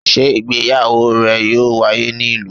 Sé ìgbéyàwó rẹ̀ yóò wáyé ní ìlú?